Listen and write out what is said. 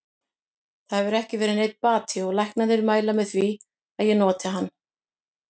Það hefur ekki verið neinn bati og læknarnir mæla með því að ég noti hann.